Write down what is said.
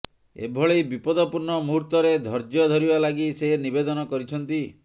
ଏଭଳି ବିପଦପୂର୍ଣ୍ଣ ମୁହୂର୍ତ୍ତରେ ଧୈର୍ଯ୍ୟ ଧରିବା ଲାଗି ସେ ନିବେଦନ କରିଛନ୍ତି